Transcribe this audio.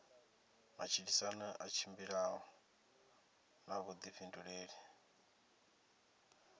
matshilisano i tshimbila na vhuḓifhinduleli